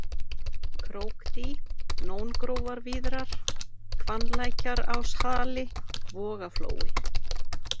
Krókdý, Nóngrófarvíðrar, Hvannlækjaráshali, Vogaflói